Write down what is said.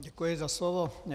Děkuji za slovo.